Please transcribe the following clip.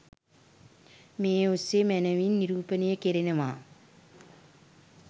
මේ ඔස්සේ මැනවින් නිරූපණය කෙරෙනවා